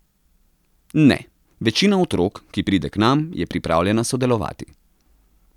Ne, večina otrok, ki pride k nam, je pripravljena sodelovati.